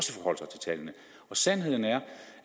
sandheden er